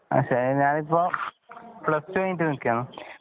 ഞാൻ എപ്പോൾ plus two കഴിഞ്ഞിട്ട് നില്‍ക്കുകയാണ്